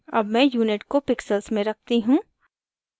अब मैं unit को pixels में रखती हूँ